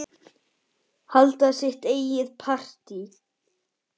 Halda sitt eigið partí.